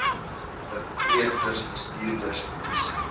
verpleegsters bestuurders polisie